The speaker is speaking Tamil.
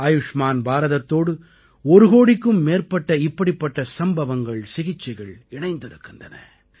ஆயுஷ்மான் பாரதத்தோடு ஒரு கோடிக்கும் மேற்பட்ட இப்படிப்பட்ட சம்பவங்கள்சிகிச்சைகள் இணைந்திருக்கின்றன